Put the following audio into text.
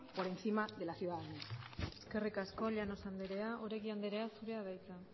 por encima de la ciudadanía eskerrik asko llanos anderea oregi andrea zurea da hitza